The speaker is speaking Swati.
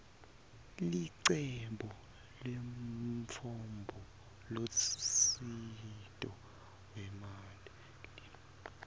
licebo lemtfombolusito wemanti